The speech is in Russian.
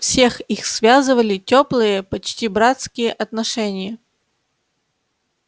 всех их связывали тёплые почти братские отношения